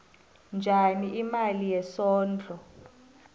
njani imali yesondlo